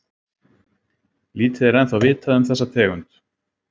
Lítið er ennþá vitað um þessa tegund.